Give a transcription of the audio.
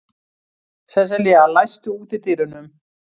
Sesselía, læstu útidyrunum.